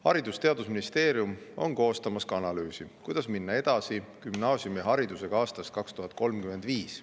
Haridus‑ ja Teadusministeerium on koostamas analüüsi, kuidas minna gümnaasiumiharidusega edasi aastast 2035.